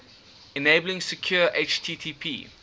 enabling secure http